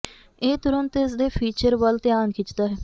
ਇਹ ਤੁਰੰਤ ਇਸ ਦੇ ਫੀਚਰ ਵੱਲ ਧਿਆਨ ਖਿੱਚਦਾ ਹੈ